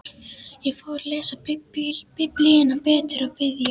Ég fór að lesa Biblíuna betur og biðja.